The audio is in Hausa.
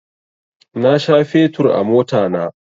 Na sha fetur a motana